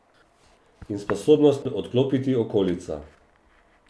In sposobnost odklopiti okolico.